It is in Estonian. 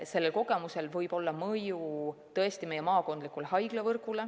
Sellel kogemusel võib tõesti olla mõju meie maakondlikule haiglavõrgule.